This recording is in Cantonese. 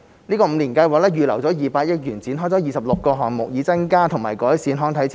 五年計劃預留200億元展開26個項目，以增加和改善康體設施。